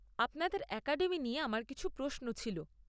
আপনাদের অ্যাকাডেমি নিয়ে আমার কিছু প্রশ্ন ছিল।